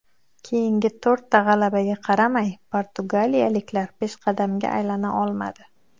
Keyingi to‘rtta g‘alabaga qaramay portugaliyaliklar peshqadamga aylana olmadi.